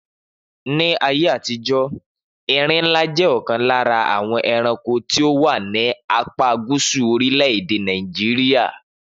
Ni ayé àtijó, erinlá jẹ́ ọ̀kan lára àwọn ẹranko tí ó wà ní apá Gúsù orílè èdè Nàìjíríà